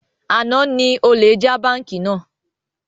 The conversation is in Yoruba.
Àná ni olè já bánkì náà